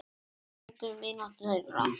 Breytti engu um vináttu þeirra.